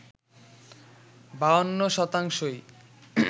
৫২শতাংশই